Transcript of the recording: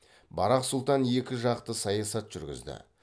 барақ сұлтан екі жақты саясат жүргізді